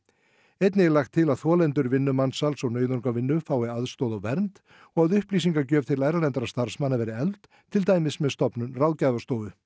einnig er lagt til að þolendur vinnumansals og nauðungarvinnu fái aðstoð og vernd og að upplýsingagjöf til erlendra starfsmanna verði efld til dæmis með stofnun ráðgjafastofu